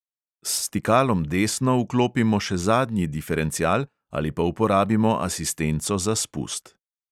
S stikalom desno vklopimo še zadnji diferencial ali pa uporabimo asistenco za spust.